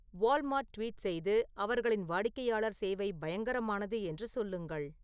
Walmart tweet செய்து அவர்களின் வாடிக்கையாளர் சேவை பயங்கரமானது என்று சொல்லுங்கள்